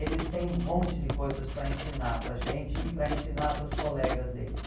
Eles têm um monte de coisas para ensinar para a gente e para ensinar para os colegas deles.